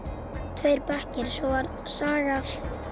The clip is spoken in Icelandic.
tveir bekkir svo var sagaður